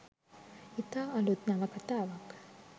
ඉතා අලුත් නවකතාවක්